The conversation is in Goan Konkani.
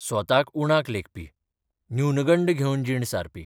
स्वताक उणाक लेखपी न्यूनगंड घेवन जीण सारपी.